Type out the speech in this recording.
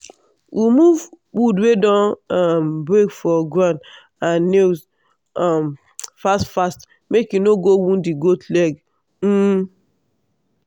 remove wood wey don um break for ground and nails um fast fast make e no go wound di goat leg. um